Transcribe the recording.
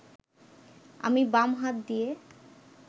আমি বাম হাত দিয়ে